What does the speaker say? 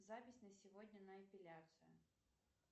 запись на сегодня на эпиляцию